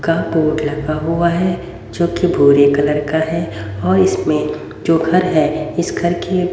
का बोर्ड लगा हुआ है जो कि भूरे कलर का है और इसमें जो घर है इस घर की --